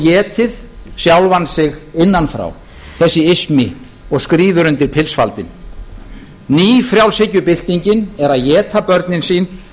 étið sjálfan sig innan frá þessi ismi og skríður undir pilsfaldinn nýfrjálshyggjubyltingin er að éta börnin sín